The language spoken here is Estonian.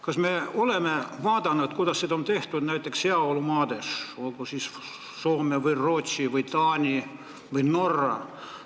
Kas me oleme uurinud, kuidas süsteem on üles ehitatud heaolumaades, olgu Soomes, Rootsis, Taanis või Norras?